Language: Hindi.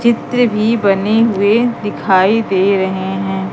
चित्र भी बने हुएं दिखाई दे रहे है।